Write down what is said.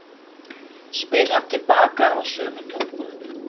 spyr hann til baka á sömu tungu.